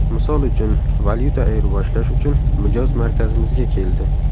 Misol uchun, valyuta ayriboshlash uchun mijoz markazimizga keldi.